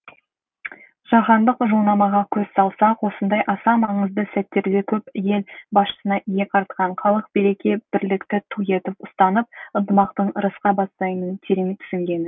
жаһандық жылнамаға көз салсақ осындай аса маңызды сәттерде көп ел басшысына иек артқан халық береке бірлікті ту етіп ұстанып ынтымақтың ырысқа бастайтынын терең түсінген